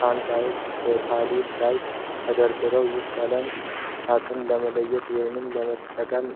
ሳንቃዎች በፓሌት ላይ ተደርድረዋል። ይህ ቀይ ቀለም ሳንቃዎቹን ለመለየት ወይም ለመጠቆም እንዴት ያገለግላል?